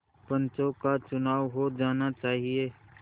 पंचों का चुनाव हो जाना चाहिए